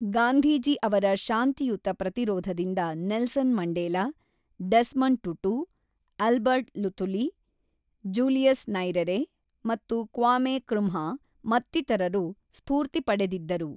ಗಾಂಧೀಜಿ ಅವರ ಶಾಂತಿಯುತ ಪ್ರತಿರೋಧದಿಂದ Nelson Mandela, Desmond Tutu, Albert Luthuli, Julius Nyerere ಮತ್ತು ಕ್ವಾಮೆ ಕೃಮ್ಹಾ ಮತ್ತಿತರರು ಸ್ಫೂರ್ತಿ ಪಡೆದಿದ್ದರು.